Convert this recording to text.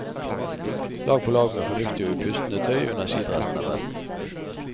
Lag på lag med fornuftig og pustende tøy under skidressen er best.